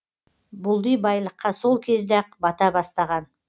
бұлди байлыққа сол кезде ақ бата бастаған